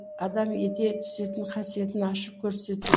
адам ете түсетін қасиетін ашып көрсету